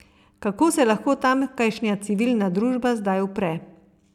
Kako se lahko tamkajšnja civilna družba zdaj upre?